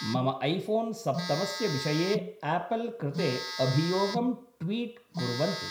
मम ऐफोन् सप्तमस्य विषये आपल् कृते अभियोगं ट्वीट् कुर्वन्तु